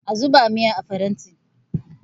a zuba miyar a faranti!